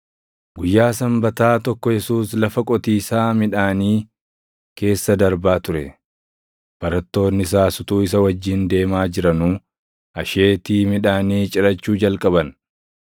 Guyyaa Sanbataa tokko Yesuus lafa qotiisaa midhaanii keessa darbaa ture; barattoonni isaas utuu isa wajjin deemaa jiranuu asheetii midhaanii cirachuu jalqaban.